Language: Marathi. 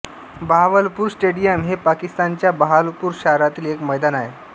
बहावलपूर स्टेडियम हे पाकिस्तानच्या बहावलपूर शहरातील एक मैदान आहे